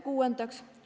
Kuuendaks.